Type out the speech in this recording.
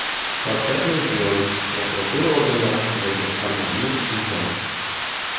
Shavkat Mirziyoyev prokuratura organlari haqidagi Farmonni imzoladi.